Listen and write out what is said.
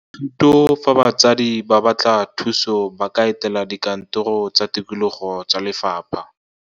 THUTO fa batsadi ba batla thuso ba ka etela dikantoro tsa tikologo tsa lefapha.